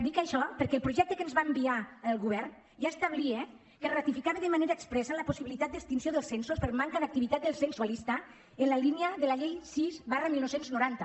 dic això perquè el projecte que ens va enviar el govern ja establia que es ratificava de manera expressa la possibilitat d’extinció dels censos per manca d’activitat del censualista en la línia de la llei sis dinou noranta